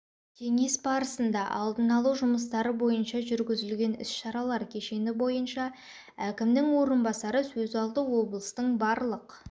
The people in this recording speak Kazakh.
кеңес барысында алдын алу жұмыстары бойынша жүргізілген іс-шаралар кешені бойынша әкімнің орынбасары сөз алды облыстың барлық